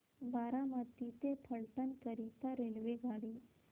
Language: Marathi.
बारामती ते फलटण करीता रेल्वेगाडी